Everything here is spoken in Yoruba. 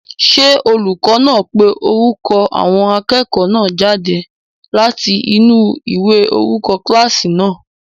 Ṣé olùkọ́ náà ń pe orúkọ àwọn akẹ́kọ̀ọ́ náà jáde láti inú ìwé orúkọ kílásì náà?